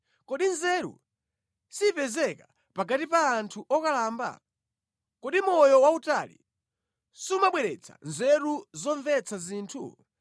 Kodi nzeru sipezeka pakati pa anthu okalamba? Kodi moyo wautali sumabweretsa nzeru zomvetsa zinthu?